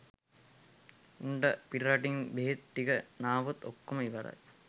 උන්ට පිටරටින් බෙහෙත් ටික නාවොත් ඔක්කොම ඉවරයි